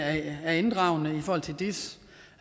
af det er inddragende i forhold til dis